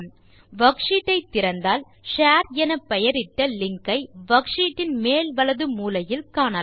worksheet ஐ திறந்தால் share என பெயரிட்ட லிங்க் ஐ வர்க்ஷீட் இன் மேல் வலது மூலையில் பார்க்கலாம்